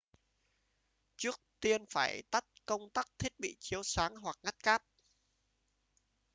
trước tiên phải tắt công tắc thiết bị chiếu sáng hoặc ngắt cáp